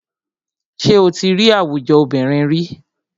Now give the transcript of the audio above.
Ṣé o tí rí àwùjọ obìnrin ríi?